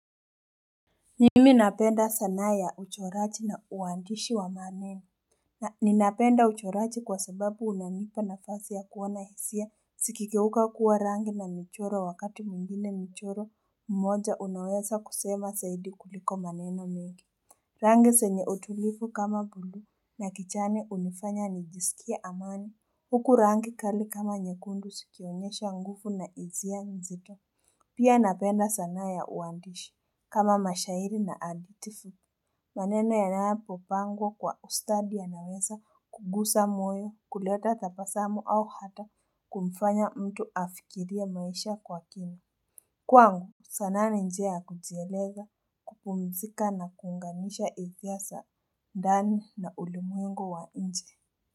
Mimi napenda sanaa ya uchoraji na uandishi wa maneno na ninapenda uchoraji kwa sababu unanipa nafasi ya kuona hisia zikigeuka kuwa rangi na michoro wakati mwingine michoro mmoja unaweza kusema zaidi kuliko maneno mengi Rangi zenye utulivu kama bluu na kijani hunifanya nijisikie amani huku rangi kali kama nyekundu zikionyesha nguvu na hisia mzito Pia napenda sanaa ya uandishi kama mashairi na hadhiti fu. Maneno yanapopangwa kwa ustadi yanaweza kugusa moyo, kuleta tabasamu au hata kumfanya mtu afikirie maisha kwa kina. Kwangu sanaa ni njia ya kujieleza kupumzika na kuunganisha hisia za ndani na ulimwengu wa nje.